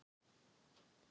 Við þurfum að fá svör